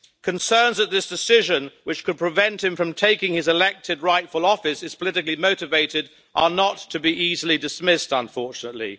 Concerns that this decision, which could prevent him from taking his elected, rightful office, is politically motivated are not to be easily dismissed unfortunately.